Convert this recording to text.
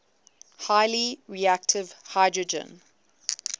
highly reactive hydrogen